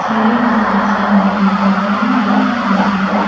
सीढ़ी के side side में फुल पॉट भी रखा हुआ है।